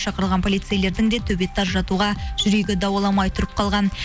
шақырылған полицейлердің де төбетті ажыратуға жүрегі дауаламай тұрып қалған